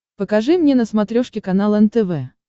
покажи мне на смотрешке канал нтв